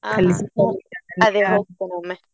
ಹಾ ಹಾ ಅದೇ ಹೋಗ್ತೇ ಒಮ್ಮೆ.